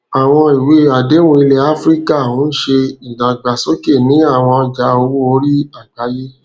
àwọn ìwé àdéhùn ilẹ áfíríkà ń ṣe ìdàgbàsókè ní àwọn ọjà owó orí àgbáyé